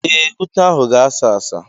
Ee, ute ahụ ga-asa asa.